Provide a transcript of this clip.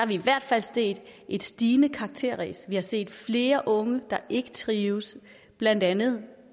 vi i hvert fald set et stigende karakterræs vi har set flere unge der ikke trives blandt andet